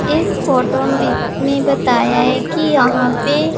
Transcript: इस फोटो मी में बताया है कि यहां पे--